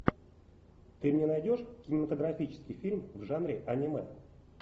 ты мне найдешь кинематографический фильм в жанре аниме